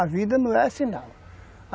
A vida não é sinal.